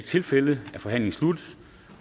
tilfældet er forhandlingen sluttet